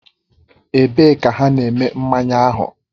Ebee ka ha na-eme mmanya ahụ?